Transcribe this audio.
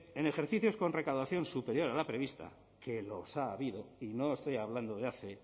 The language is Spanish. en ejercicios con recaudación superior a la prevista que los ha habido y no estoy hablando de hace